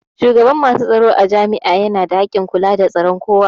Shugaban masu tsaro a jami'a yana da hakkin kula da tsaron kowa